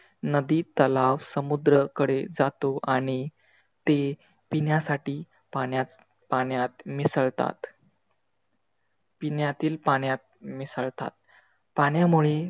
नदी, तलाव, समुद्रकडे जातो आणि ते पिण्यासाठी पाण्यात पाण्यात मिसळतात. पिण्यातील पाण्यात मिसळतात. पाण्यामुळे